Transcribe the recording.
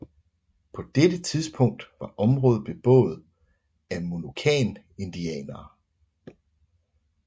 På dette tidspunkt var området beboet af Monocan indianere